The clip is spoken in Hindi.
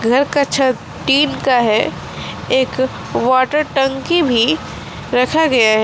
घर का छत टीन का है एक वाटर टंकी भी रखा गया है।